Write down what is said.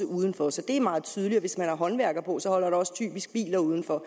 udenfor så det er meget tydeligt og hvis man har håndværkere på holder der også typisk biler udenfor